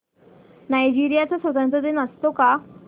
Nigeria चा स्वातंत्र्य दिन असतो का